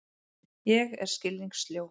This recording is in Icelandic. Ég er skilningssljó.